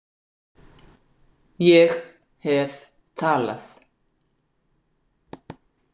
Ég hef talað